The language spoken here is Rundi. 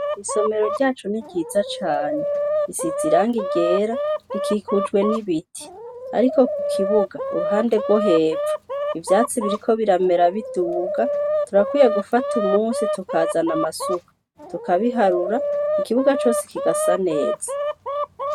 Isomero ryacu n'iryiza cane risize irangi ryera rikikujwe n'ibiti ariko ku kibuga kuruhande rwohepfo ivyatsi biriko biramera biduga turakwiye gufata umunsi tukazana amasuka tukabiharura ikibuga cose kigasa neza.